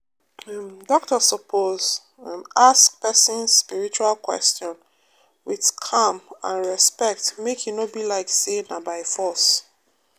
um doctor suppose um ask um person spiritual question with calm and respect make e no be like say na by force